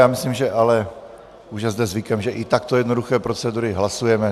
Já myslím, že ale už je zde zvykem, že i takto jednoduché procedury hlasujeme.